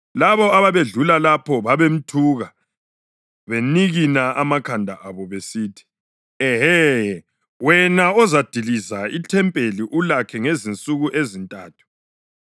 Labo ababedlula lapho babemthuka benikina amakhanda abo besithi, “Ehe! Wena ozadiliza ithempeli ulakhe ngezinsuku ezintathu,